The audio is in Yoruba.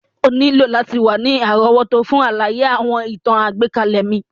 O nílò láti wa ni àrówótó fun àlàyé àwọn ìtàn àgbékalẹ̀ mi.